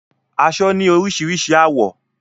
Aṣọ ni orísirísi àwọ́